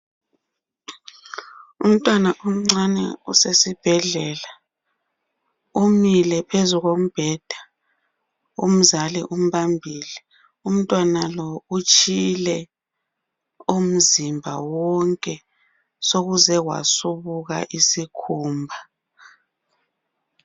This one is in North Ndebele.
Umntwana omncane usesibhedlela. Umile phezu kombheda umzali umbambile .Umntwana lo utshile umzimba wonke, sokuze kwasubuka isikhumba.